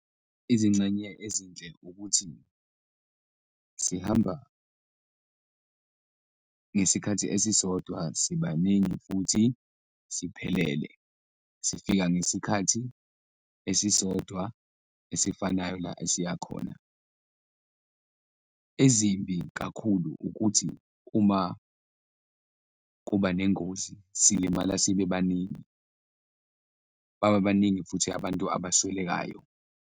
Izingxenye ezinhle ukuthi sihamba ngesikhathi esisodwa, sibaningi futhi siphelele, sifika ngesikhathi esisodwa esifanayo la esiyakhona. Ezimbi kakhulu ukuthi uma kuba nengozi silimala sibebaningi, baba baningi futhi abantu abaswelekayo.